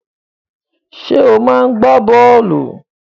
Ṣé ò máa ń gbá bọ́ọ̀lù?